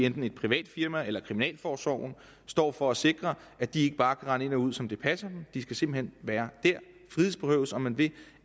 enten et privat firma eller kriminalforsorgen står for at sikre at de ikke bare kan rende ind og ud som det passer dem de skal simpelt hen være der frihedsberøves om man vil